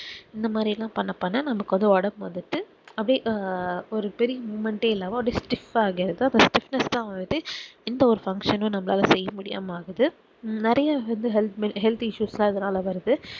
இந்த மாதிரிலாம் பண்ண பண்ண நம்மக்கு ஒடம்பு வந்துட்டு அப்டி அஹ் ஒரு பெரிய moment ஹே இல்லாம அப்புடியே stif ஆ ஆய்டுத்து அந்த stifness தான் வந்துட்டு எந்த ஒரு function யூம் நம்மளால செய்யமுடியாம ஆகுது நெறைய வந்து healthhealthissuse லா இதுனால வருது